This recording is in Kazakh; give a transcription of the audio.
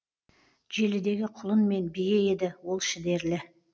желідегі құлын мен бие еді ол шідерлі